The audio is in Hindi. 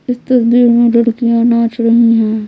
इस तस्वीर में लड़कियां नाच रही है।